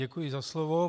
Děkuji za slovo.